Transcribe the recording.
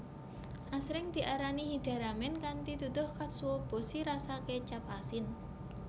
Asring diarani hida ramen kanthi duduh katsuobushi rasa kecap asin